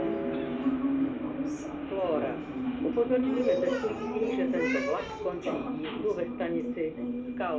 नाव मे बहुत सारे लड़के है जो नाव से तैर रहे है चार पाँच नाव दिख रही है ।